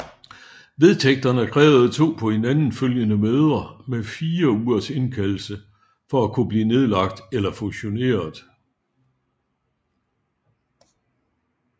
Vedtægterne krævede to på hinanden følgende møder med 4 ugers indkaldelse for at kunne blive nedlagt eller fusioneret